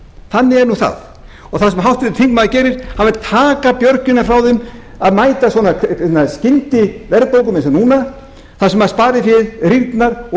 þannig er nú það og það sem háttvirtur þingmaður gerir hann vill taka björgina frá þeim að mæta svona skyndiverðbólgu eins og núna þar sem spariféð rýrnar og